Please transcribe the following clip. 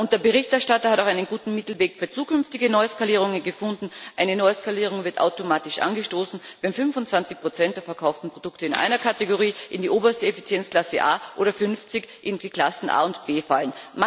Der Berichterstatter hat auch einen guten Mittelweg für zukünftige Neuskalierungen gefunden Eine Neuskalierung wird automatisch angestoßen, wenn 25 der verkauften Produkte in einer Kategorie in die oberste Effizienzklasse A oder 50 in die Klassen A und B fallen.